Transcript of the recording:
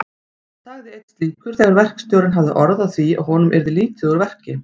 sagði einn slíkur þegar verkstjórinn hafði orð á því að honum yrði lítið úr verki.